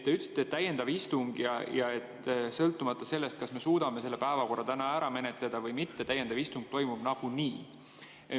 Te ütlesite, et tuleb täiendav istung ja et sõltumata sellest, kas me suudame selle päevakorra täna ära menetleda või mitte, täiendav istung toimub nagunii.